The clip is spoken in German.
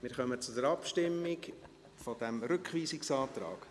Wir kommen zur Abstimmung über diesen Rückweisungsantrag.